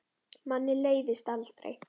Manni leiðist aldrei.